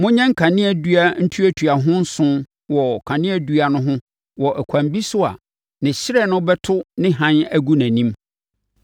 “Monyɛ nkanea dua ntuatuaho nson wɔ kaneadua no ho wɔ ɛkwan bi so a ne hyerɛn no bɛto ne hann agu nʼanim.